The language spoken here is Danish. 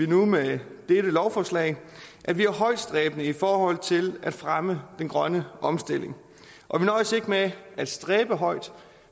nu med dette lovforslag at vi er højtstræbende i forhold til at fremme den grønne omstilling og vi nøjes ikke med at stræbe højt